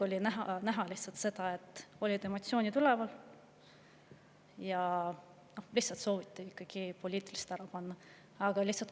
Tol ajal oli näha, et emotsioonid olid üleval ja lihtsalt sooviti poliitiliselt ära panna.